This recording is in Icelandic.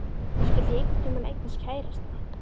Skyldi ég einhvern tíma eignast kærasta?